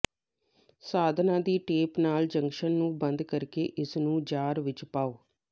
ਸਾਧਨਾਂ ਦੀ ਟੇਪ ਨਾਲ ਜੰਕਸ਼ਨ ਨੂੰ ਬੰਦ ਕਰਕੇ ਇਸਨੂੰ ਜਾਰ ਵਿੱਚ ਪਾਓ